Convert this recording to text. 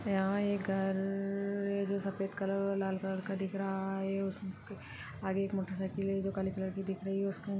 यहां एक घ र-र-र है जो सफेद-द कलर और लाल कलर का दिख रहा है आगे एक मोटरसाइकिल है जो काले कलर की दिख रही है उसके--